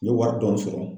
N ye wari dɔɔni sɔrɔ